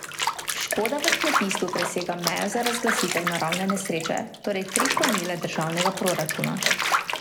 Škoda v kmetijstvu presega mejo za razglasitev naravne nesreče, torej tri promile državnega proračuna.